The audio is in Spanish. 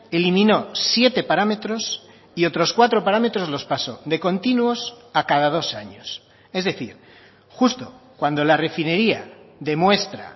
eliminó siete parámetros y otros cuatro parámetros los pasó de continuos a cada dos años es decir justo cuando la refinería demuestra